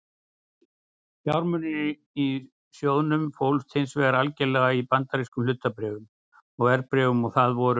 Fjármunirnir í sjóðnum fólust hins vegar algerlega í bandarískum hlutabréfum og verðbréfum og það voru